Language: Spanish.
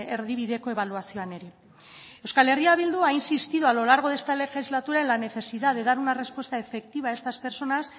erdibideko ebaluazioan ere euskal herria bildu ha insistido a lo largo de esta legislatura en la necesidad de dar una respuesta efectiva a estas personas